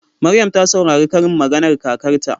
Maryam ta saurari karin maganar kakarta.